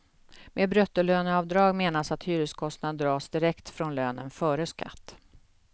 Med bruttolöneavdrag menas att hyreskostnaden dras direkt från lönen, före skatt.